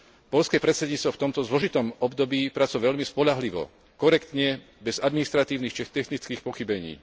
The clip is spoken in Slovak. Poľské predsedníctvo v tomto zložitom období pracovalo veľmi spoľahlivo, korektne, bez administratívnych či technických pochybení.